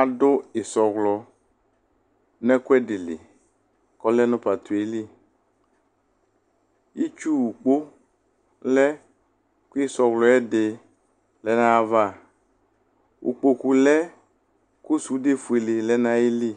Adʋ ɩsɔwlɔ nʋ ɛkʋɛdɩ dɩ li kʋ ɔlɛ nʋ pato yɛ li Itsuwukpo lɛ kʋ ɩsɔwlɔ yɛ dɩ lɛ nʋ ayava Ulpoku lɛ kʋ sudefuele lɛ nʋ ayili